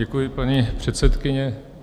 Děkuji, paní předsedkyně.